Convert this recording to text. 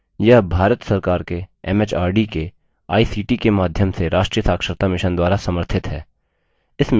यह भारत सरकार के एमएचआरडी के आईसीटी के माध्यम से राष्ट्रीय साक्षरता mission द्वारा समर्थित है